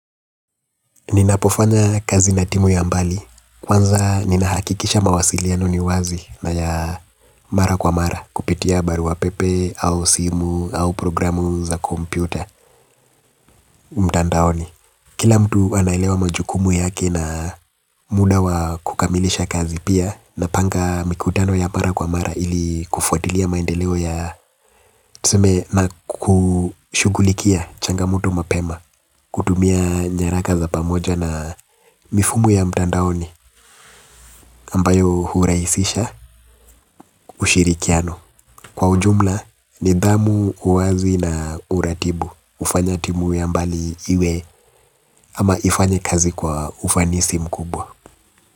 Ninapofanya kazi na timu ya mbali, kwanza ninahakikisha mawasiliano ni wazi na ya mara kwa mara kupitia barua pepe au simu au programu za kompyuta mtandaoni. Kila mtu anaelewa majukumu yake na muda wa kukamilisha kazi, pia napanga mikutano ya mara kwa mara ili kufuatilia maendeleo ya tuseme nakushughulikia changamoto mapema kutumia nyaraka za pamoja na mifumo ya mtandaoni ambayo huraisisha ushirikiano. Kwa ujumla, nidhamu, uwazi na uratibu hufanya timu ya mbali iwe ama ifanye kazi kwa ufanisi mkubwa.